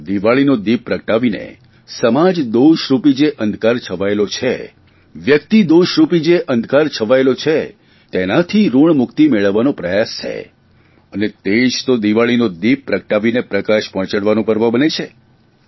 દિવાળીનો દિપ પ્રગટાવીને સમાજ દોષરૂપી જે અંધકાર છવાયેલો છે વ્યકિતદોષ રૂપી જે અંધકાર છવાયેલો છે તેનાથી ઋણ મુક્તિ મેળવવાનો પ્રયાસ છે અને તે જ તો દિવાળીનો દીપ પ્રગટાવીને પ્રકાશ પહોંચાડવાનું પર્વ બને છે